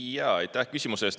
Aitäh küsimuse eest!